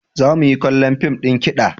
Za mu yi kallon fim ɗin kiɗa.